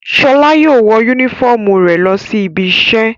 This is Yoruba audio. Ṣọlá yóò wọ únífọ́ọ́mù rẹ̀ lọ sí ibiṣẹ́.